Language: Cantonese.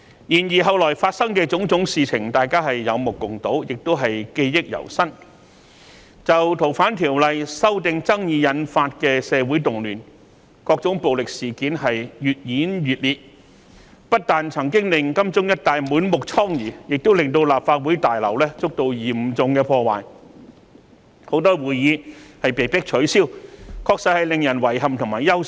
然後，後來發生的種種事情，大家都有目共睹，亦記憶猶新，就《逃犯條例》修訂引發的社會動亂，各種暴力事件越演越烈，不單曾經令金鐘一帶滿目瘡痍，亦令立法會大樓遭到嚴重破壞，很多會議被迫取消，確實令人遺憾和憂心。